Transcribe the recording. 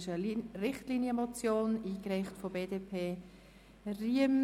Das ist eine Richtlinienmotion, eingereicht von der BDP, Riem.